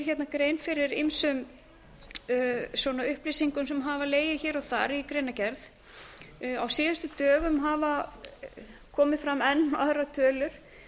hérna grein fyrir ýmsum upplýsingum sem hafa legið hér og þar í greinargerð á síðustu dögum hafa komið fram enn aðrar tölur